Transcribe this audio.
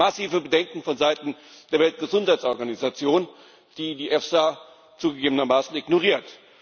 Es gibt massive Bedenken von Seiten der Weltgesundheitsorganisation, die die EFSA zugegebenermaßen ignoriert.